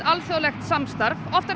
alþjóðlegt samstarf oft